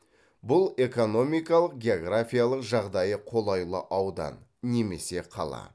бұл экономикалық географиялық жағдайы қолайлы аудан немесе қала